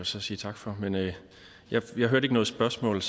så sige tak for men jeg jeg hørte ikke noget spørgsmål